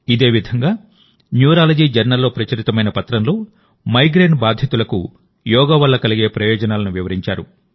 ఇదేవిధంగాన్యూరాలజీ journal లో ప్రచురితమైన పత్రంలో మైగ్రేన్ బాధితులకు యోగా వల్ల కలిగే ప్రయోజనాలను వివరించారు